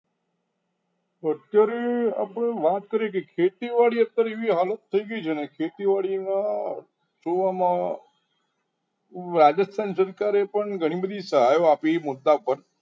અત્યારે આપણે વાત કરીએ કે ખેતીવાડી અત્યારે એવી હાલત થઈ ગઈ કે ખેતીવાડીમાં જોવામાં રાજસ્થાન સરકારે પણ ઘણી બધી સહાયો આપી છે મુદ્દા પર